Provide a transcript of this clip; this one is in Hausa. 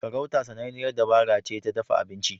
Farauta sananniyar dabara ce ta dafa abinci.